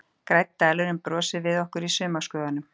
Grænn dalurinn brosir við okkur í sumarskrúðanum.